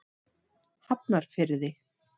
Hafnarfirði